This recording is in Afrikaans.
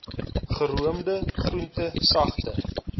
geroomde groente sagte